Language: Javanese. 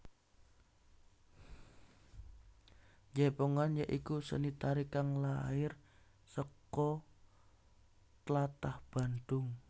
Jaipongan ya iku seni tari kang lair saka tlatah Bandung